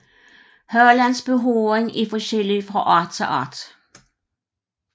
Halens behåring er forskellig fra art til art